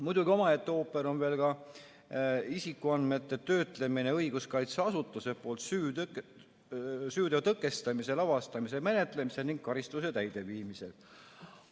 Muidugi, omaette ooper on veel ka isikuandmete töötlemine õiguskaitseasutuse poolt süüteo tõkestamisel, avastamisel ja menetlemisel ning karistuse täideviimisel.